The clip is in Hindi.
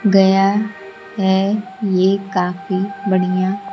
गया है ये काफी बढ़िया--